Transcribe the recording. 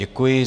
Děkuji.